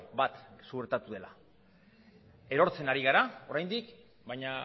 bat suertatu dela erortzen ari gera oraindik baina